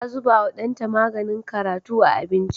Ta zubawa ɗanta maganin karatu a abinci.